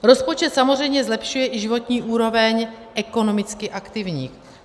Rozpočet samozřejmě zlepšuje i životní úroveň ekonomicky aktivních.